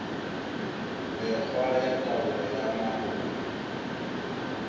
mekgwa ya taolo ya mahola